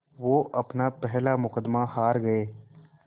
वो अपना पहला मुक़दमा हार गए